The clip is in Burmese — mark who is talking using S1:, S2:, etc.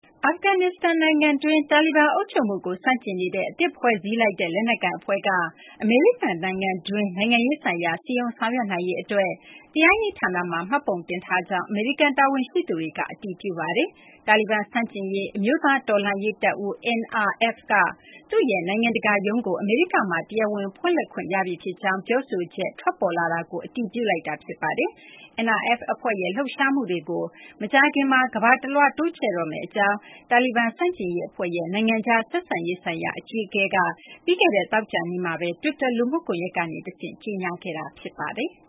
S1: အာဖဂန်နစ္စတန် နိုင်ငံတွင်း တာလီဘန် အုပ်ချုပ်မှုကို ဆန့်ကျင်နေတဲ့ အသစ်ဖွဲ့စည်းလိုက်တဲ့ လက်နက်ကိုင် အဖွဲ့က အမေရိကန်နိုင်ငံတွင်း နိုင်ငံရေး ဆိုင်ရာ စည်းရုံးဆောင်ရွက်နိုင်ရေး အတွက် တရားရေးဌာနမှာ မှတ်ပုံတင်ထားကြောင်း အမေရိကန် တာဝန်ရှိသူတွေက အတည်ပြုပါတယ်။ တာလီဘန် ဆန့်ကျင်ရေး အမျိုးသား တော်လှန်ရေး တပ်ဦး NRF က သူ့ရဲ့ နိုင်ငံတကာ ရုံးကို အမေရိကမှာ တရားဝင် ဖွင့်လှစ်ခွင့် ရပြီ ဖြစ်ကြောင်း ပြောဆိုချက် ထွက်ပေါ်လာတာကို အတည်ပြု လိုက်တာ ဖြစ်ပါတယ်။ NRF အဖွဲ့ရဲ့ လှုပ်ရှားမှုတွေကို မကြာခင်မှာ ကမ ္ဘာတလွှား တိုးချဲ့တော့မယ့် အကြောင်း တာလီဘန် ဆန့်ကျင်ရေး အဖွဲ့ရဲ့ နိုင်ငံခြား ဆက်ဆံရေးဆိုင်ရာ အကြီးအကဲ Ali Maisam Nazary က ပြီးခဲ့တဲ့ သောကြာနေ့မှာ တွစ်တာ လူမှုကွန်ရက်ကနေ တဆင့် ကြေညာခဲ့တာ ဖြစ်ပါတယ်။